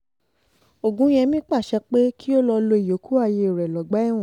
ọ̀gúnyẹ̀mí pàṣẹ pé kí o lọ́ọ́ lo ìyókù ayé rẹ lọ́gbà ẹ̀wọ̀n